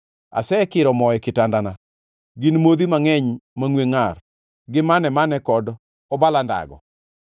Asekiro moo e kitandana, gin modhi mangʼeny mangʼwe ngʼar gi mane-mane kod obala ndago.